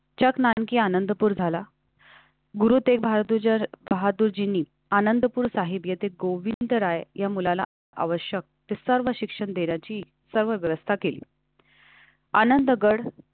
जग नानकी आनंदपूर झाला. गुरुतें भारताच्याबहादुरजी आनंदपुर साहिब येथे गोविंद राय या मुलाला आवश्यक ते सर्व शिक्षण देण्याची सर्व व्यवस्था केली.